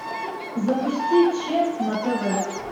запусти че на тв